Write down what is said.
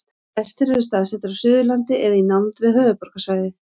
flestir eru staðsettir á suðurlandi eða í nánd við höfuðborgarsvæðið